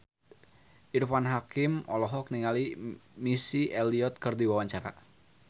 Irfan Hakim olohok ningali Missy Elliott keur diwawancara